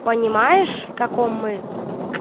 понимаешь в каком мы